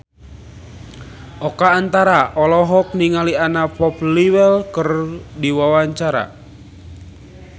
Oka Antara olohok ningali Anna Popplewell keur diwawancara